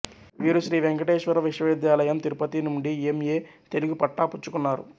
వీరు శ్రీ వెంకటేశ్వర విశ్వవిద్యాలయం తిరుపతి నుండి ఎం ఎ తెలుగు పట్టాపుచ్చుకున్నారు